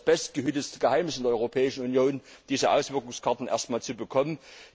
Das ist ja das bestgehütete Geheimnis in der Europäischen Union, diese Auswirkungskarten erst mal zu bekommen.